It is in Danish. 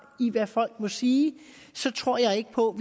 i hvad folk må sige tror jeg ikke på